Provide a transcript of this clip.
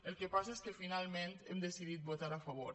el que passa és que finalment hem decidit votar·hi a favor